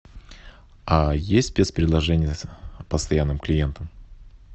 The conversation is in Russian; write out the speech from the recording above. есть спецпредложения постоянным клиентам